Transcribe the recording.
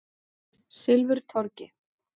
Silfurtorgi